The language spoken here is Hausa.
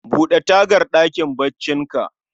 Bude tagar ɗakin baccin ka